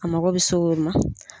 A mako bɛ se o ma.